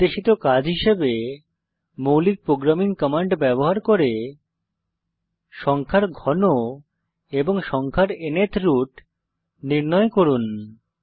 নির্দেশিত কাজ হিসাবে মৌলিক প্রোগ্রামিং কমান্ড ব্যবহার করে সংখ্যার ঘন এবং সংখ্যার ন্থ রুট নির্ণয় করুন